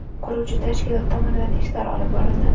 Quruvchi tashkilot tomonidan ishlar olib borildi.